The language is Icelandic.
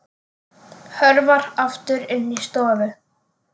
Hörfar aftur inn í stofu.